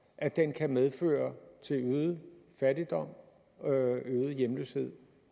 at den kan medføre øget fattigdom og øget hjemløshed